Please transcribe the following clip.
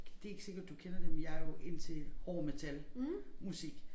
Det ikke sikker du kender dem men jeg jo indtil hård metalmusik